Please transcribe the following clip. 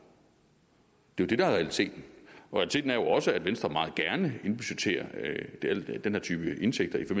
det er jo det der er realiteten realiteten er jo også at venstre meget gerne indbudgetterer den her type indtægter i